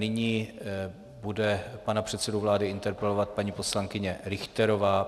Nyní bude pana předsedu vlády interpelovat paní poslankyně Richterová.